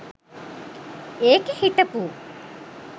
ඒකෙ හිටපු .